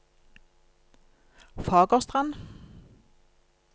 Fagerstrand